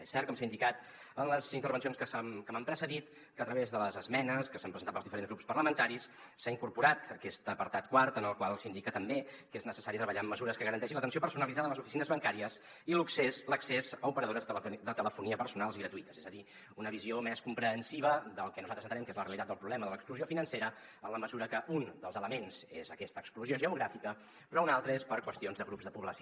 és cert com s’ha indicat en les intervencions que m’han precedit que a través de les esme·nes que s’han presentat pels diferents grups parlamentaris s’ha incorporat aquest apartat quart en el qual s’indica també que és necessari treballar amb mesures que garanteixin l’atenció personalitzada a les oficines bancàries i l’accés a operadores de telefonia personals i gratuïtes és a dir una visió més comprensiva del que nosaltres entenem que és la realitat del problema de l’exclusió financera en la mesura que un dels elements és aquesta exclusió geogràfica però un altre és per qüestions de grups de població